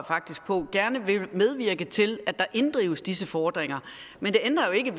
faktisk på gerne vil medvirke til at der inddrives disse fordringer men det ændrer jo ikke